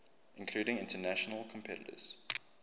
including international competitors